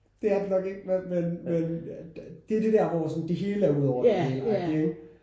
Det er det nok ikke men men det er det der hvor sådan det hele er ud over det hele agtig ikke?